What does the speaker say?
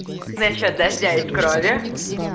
насчёт дождя из крови